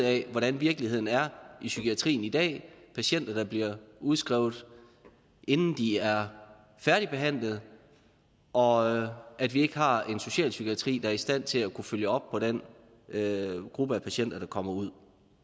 af hvordan virkeligheden er i psykiatrien i dag patienter der bliver udskrevet inden de er færdigbehandlede og at vi ikke har en socialpsykiatri der er i stand til at følge op på den gruppe af patienter der kommer ud